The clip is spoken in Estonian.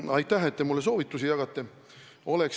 No aitäh, et te mulle soovitusi jagate!